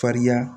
Fariya